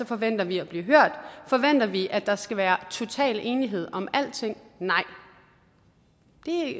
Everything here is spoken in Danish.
forventer vi at blive hørt forventer vi at der skal være total enighed om alle ting nej